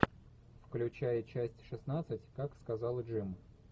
включай часть шестнадцать как сказал джим